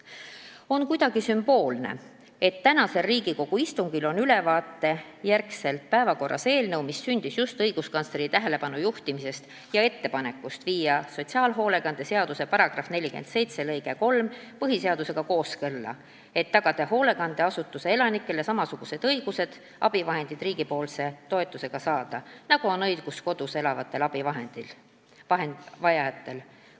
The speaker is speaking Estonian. On kuidagi sümboolne, et tänasel Riigikogu istungil on pärast seda ülevaadet päevakorras eelnõu, mis sündis just tänu õiguskantsleri tähelepanujuhtimisele ja ettepanekule viia sotsiaalhoolekande seaduse § 47 lõige 3 põhiseadusega kooskõlla, et tagada hoolekandeasutuse elanikele samasugused õigused abivahendid riigipoolse toetuseta saada, nagu on õigus kodus elavatel abivahendi vajajatel.